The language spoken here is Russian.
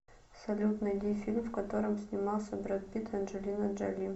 салют найди фильм в котором снимался бред питт и анджелина джоли